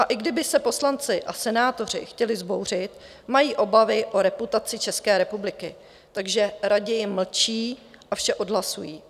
A i kdyby se poslanci a senátoři chtěli vzbouřit, mají obavy o reputaci České republiky, takže raději mlčí a vše odhlasují.